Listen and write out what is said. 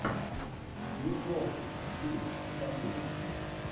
ник нолти фильм покажи мне